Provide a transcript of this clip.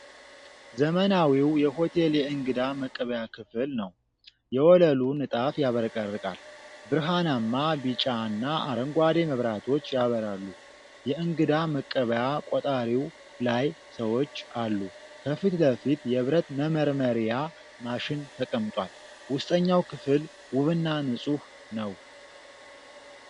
ዘመናዊ የሆቴል የእንግዳ መቀበያ ክፍል ነው። የወለሉ ንጣፍ ያብረቀርቃል። ብርሃናማ ቢጫና አረንጓዴ መብራቶች ያበራሉ። የእንግዳ መቀበያ ቆጣሪው ላይ ሰዎች አሉ። ከፊት ለፊት የብረት መመርመሪያ ማሽን ተቀምጧል። ውስጠኛው ክፍል ውብና ንጹህ ነው።